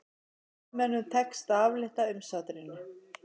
Sovétmönnum tekst að aflétta umsátrinu